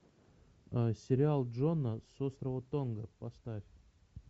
сериал джона с острова тонга поставь